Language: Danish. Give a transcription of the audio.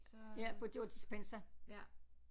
Ja på det var Dispenza